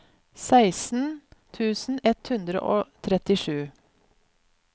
seksten tusen ett hundre og trettisju